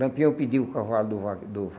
Lampião pedia o cavalo do va do